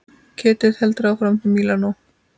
Ketill heldur áfram til Mílanó.